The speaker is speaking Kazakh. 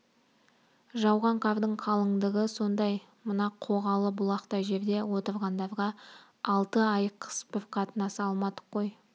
жауған қардың қалыңдығы сондай мына қоғалы бұлақтай жерде отырғандарға алты ай қыс бір қатынаса алмадық қой